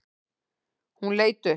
Hún leit upp.